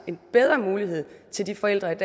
en bedre mulighed til de forældre